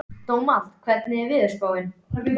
Dómald, hvernig er veðurspáin?